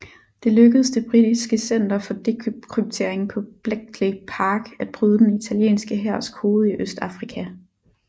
Det lykkedes det britiske center for dekryptering på Bletchley Park at bryde den italienske hærs kode i Østafrika